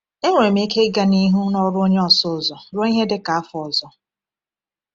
Enwere m ike ịga n’ihu n’ọrụ onye ọsụ ụzọ ruo ihe dị ka otu afọ ọzọ.